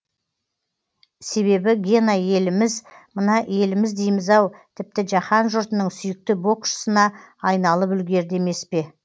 себебі гена еліміз мына еліміз дейміз ау тіпті жаһан жұртының сүйікті боксшысына айналып үлгерді емес пе